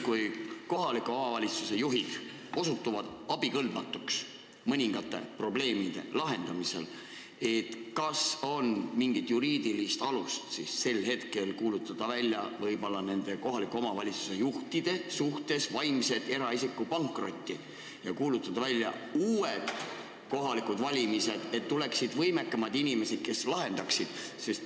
Kui kohaliku omavalitsuse juhid osutuvad mõningate probleemide lahendamisel abikõlbmatuks, kas on mingit juriidilist alust kuulutada nende omavalitsuse juhtide suhtes välja eraisiku vaimne pankrot ja korraldada uued kohalikud valimised, et tegutsema hakkaksid võimekamad inimesed, kes suudaksid probleeme lahendada?